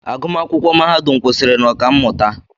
Agụmakwụkwọ mahadum kwụsịrị na Ọkammụta